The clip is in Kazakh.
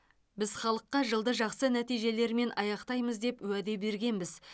біз халыққа жылды жақсы нәтижелермен аяқтаймыз деп уәде бергенбіз